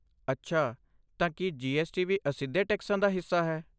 ਅੱਛਾ, ਤਾਂ ਕੀ ਜੀਐਸਟੀ ਵੀ ਅਸਿੱਧੇ ਟੈਕਸਾਂ ਦਾ ਹਿੱਸਾ ਹੈ?